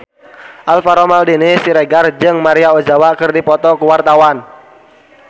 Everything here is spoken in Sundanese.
Alvaro Maldini Siregar jeung Maria Ozawa keur dipoto ku wartawan